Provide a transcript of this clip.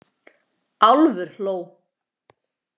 Álfur hló.